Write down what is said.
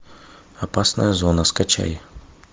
опасная зона скачай